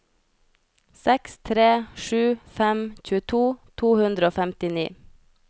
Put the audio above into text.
seks tre sju fem tjueto to hundre og femtini